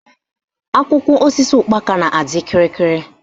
Akwụkwọ osisi ụkpaka na-adị kịrịkịrị